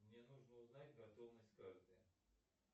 мне нужно узнать готовность карты